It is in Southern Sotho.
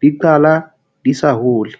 Di qala di sa hole.